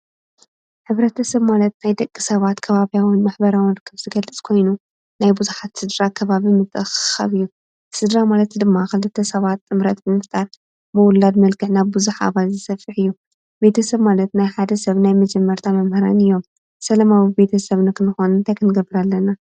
ሕብረተ ሰብ ማለት ናይ ደቂ ሰባት ከባብያውን ማሕበራውን ርክብ ዝገልፅ ኮይኑ ናይ ብዙሓት ስድራ ከባቢ ምትእኽኻብ እዩ፡፡ ስድራ ማለት ድማ ኽልተ ሰባት ጥምረት ብምፍጣር ብውላድ መልከዕ ናብ ብዙሐ ኣባለ ዝሰፊሕ እዩ፡፡ ቤተ ሰብ ማለት ናይ ሓደ ሰብ ናይ መጀመርታ መምህራን እዮም፡፡ ሰለማዊ ቤተ ሰብ ነኽንኮን አንታይ ኽንገብር ኣለና?